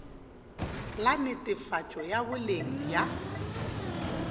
la netefatšo ya boleng bja